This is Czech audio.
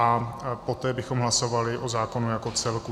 A poté bychom hlasovali o zákonu jako celku.